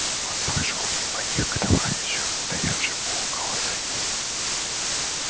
он прошёл мимо них к товарищу стоявшему около саней